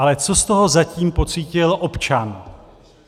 Ale co z toho zatím pocítil občan?